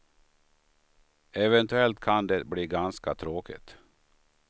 Eventuellt kan det bli ganska tråkigt.